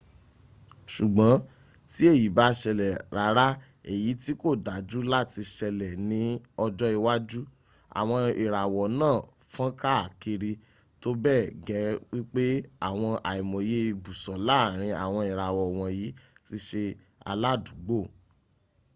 sùgbón tí èyí ba´ sèlè rárá èyí ti kò dájú láti sẹlè ní ọjọ́ iwájú. àwọn ìràwọ̀ náà fọn kàkiri tó bẹ gẹ wípé àwọn àìmoyẹ ìbùsọ̀ láárin àwọn ìràwọ̀ wònyí tí sẹ aládùúgbò